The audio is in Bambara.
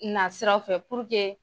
Na siraw fɛ